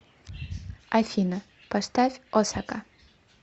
афина поставь осака